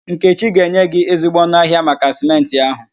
Nkechi ga-enye gị ezigbo ọnụ ahịa maka Sịmentị ahụ